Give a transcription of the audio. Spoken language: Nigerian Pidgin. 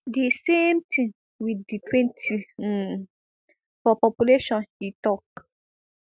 di same tin wit di twenty um for population e tok